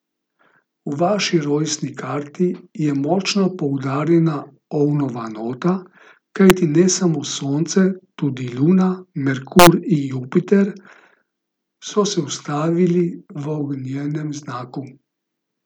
V vaši rojstni karti je močno poudarjena ovnova nota, kajti ne samo Sonce, tudi Luna, Merkur in Jupiter so se ustavili v ognjenem znaku.